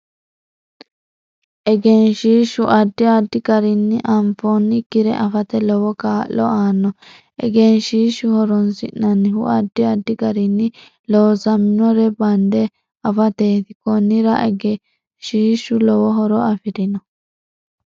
Egeshiishu addi addi garinni anfoonikire afate lowo kaa'lo aanno egeshiisha horoonsinanihu addi addi gariini loosaminore bande afateeti konnira egedhiishu lowo horo afirino